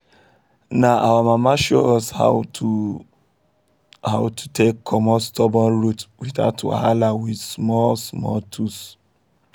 na our mama show us how to us how to take comot stubborn root without wahala just with small-small tools.